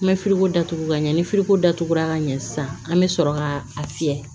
N bɛ ko datugu ka ɲɛ ni ko datugura ka ɲɛ sisan an be sɔrɔ ka a fiyɛ